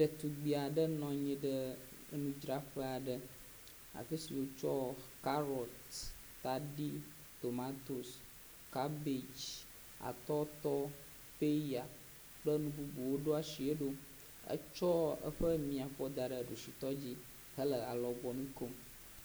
Ɖetugbi aɖe nɔ anyi ɖe enudzraƒe aɖe. afi si wotsɔ karɔt, tadi, tomatosi, kabag, atɔtɔ, peya kple nu bubuwo ɖo asie ɖo. etsɔ eƒe miafɔ da ɖe ɖusitɔ dzi hele alɔgbɔnu kom.